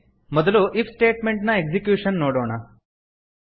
ಮೊದಲು if statement ನ execution ನೋಡೋಣ